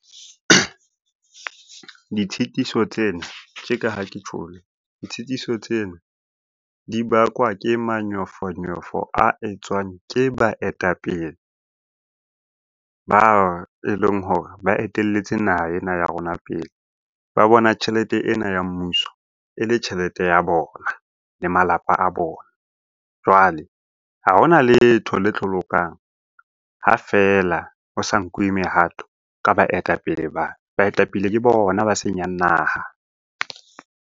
Ditshitiso tsena tje ka ha ke tjholo, ditshitiso tsena di bakwa ke manyofonyofo a etswang ke baetapele ba e leng hore ba etelletse naha ena ya rona pele. Ba bona tjhelete ena ya mmuso e le tjhelete ya bona le malapa a bona. Jwale ha hona letho le tlo lokang ha feela o sa nkuwe mehato ka baetapele ba. Baetapele ke bona ba senyang naha.